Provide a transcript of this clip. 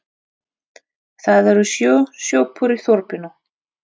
Það eru sjö sjoppur í þorpinu!